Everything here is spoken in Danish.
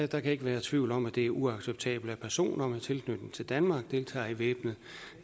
der kan ikke være tvivl om at det er uacceptabelt at personer med tilknytning til danmark deltager i væbnet